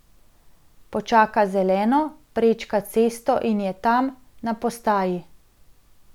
Počaka zeleno, prečka cesto in je tam, na postaji.